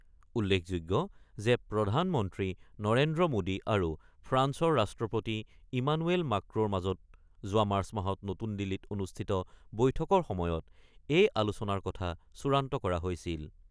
উল্লেখযোগ্য যে প্ৰধানমন্ত্ৰী নৰেন্দ্ৰ মোডী আৰু ফ্ৰান্সৰ ৰাষ্ট্ৰপতি ইমানুৱেল মাক্ৰ'ৰ মাজত যোৱা মাৰ্চ মাহত নতুন দিল্লীত অনুষ্ঠিত বৈঠকৰ সময়ত এই আলোচনাৰ কথা চূড়ান্ত কৰা হৈছিল।